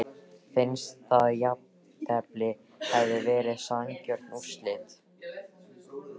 Finnst að jafntefli hefði verið sanngjörn úrslit?